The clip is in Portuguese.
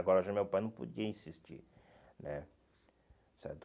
Agora já meu pai não podia insistir, né? Certo.